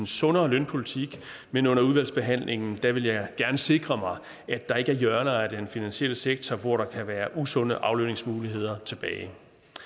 sundere lønpolitik men under udvalgsbehandlingen vil jeg gerne sikre mig at der ikke er hjørner af den finansielle sektor hvor der kan være usunde aflønningsmuligheder tilbage